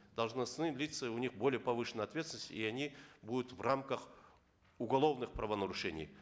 должностные лица у них более повышенная ответственность и они будут в рамках уголовных правонарушений